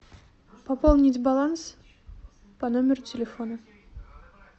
пополнить баланс по номеру телефона